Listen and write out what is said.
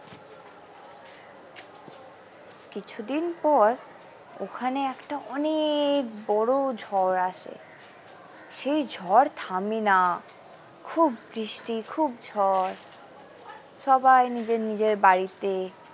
কিছুদিন পর ওখানে একটা অনেক বড়ো ঝড় আসে সেই ঝড় থামে না খুব বৃষ্টি খুব ঝড় সবাই নিজের নিজের বাড়িতে।